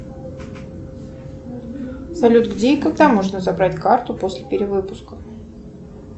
салют где и когда можно забрать карту после перевыпуска